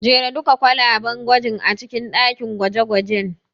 Jera duka kwalaben gwajin a cikin ɗakin gwaje-gwajen.